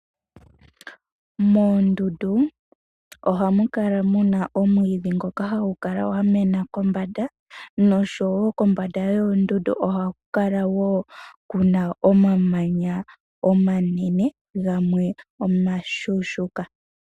Moondundu ohamu kala muna omwiidhi ngoka hagu kala gwa mena kombanda noshowo kombanda yoondundu ohaku kala omamanya woo kuna omamamanya omanene gamwe omashuushuka.